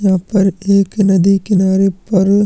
यहाँ पर एक नदी के किनारे पर--